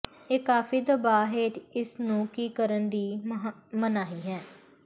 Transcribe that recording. ਇਹ ਕਾਫੀ ਦਬਾਅ ਹੇਠ ਇਸ ਨੂੰ ਕੀ ਕਰਨ ਦੀ ਮਨਾਹੀ ਹੈ